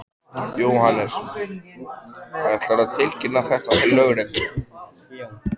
Jóhannes: Ætlarðu að tilkynna þetta til lögreglu?